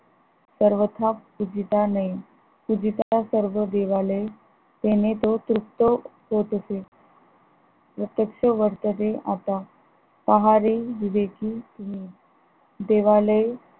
पर्वता पूजिता नये पूजिता सर्व देवालय तेणे तो तृप्त होत असे. प्रत्यक्ष वर्तेदे अपा पहारे विवेकी देवालय